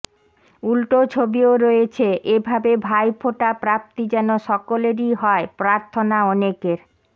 উলটো ছবিও রয়েছে এ ভাবে ভাইফোঁটা প্রাপ্তি যেন সকলেরই হয় প্রার্থনা অনেকের